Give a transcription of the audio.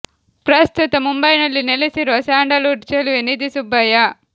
ಪ್ರಸ್ತುತ ಮುಂಬೈ ನಲ್ಲಿ ನೆಲೆಸಿರುವ ಸ್ಯಾಂಡಲ್ ವುಡ್ ಚೆಲುವೆ ನಿಧಿ ಸುಬ್ಬಯ್ಯ